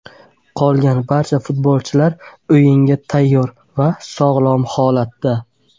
Qolgan barcha futbolchilar o‘yinga tayyor va sog‘lom holatda.